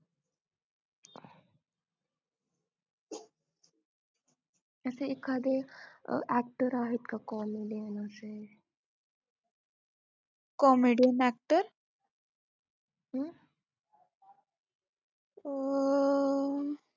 असे एखादे अं actor आहेत का comedy